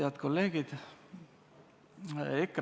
Head kolleegid!